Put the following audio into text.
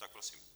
Tak prosím.